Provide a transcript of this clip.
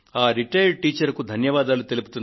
ఆ రిటైర్డ్ టీచరుకు ధన్యవాదాలు